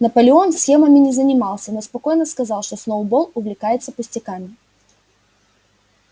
наполеон схемами не занимался но спокойно сказал что сноуболл увлекается пустяками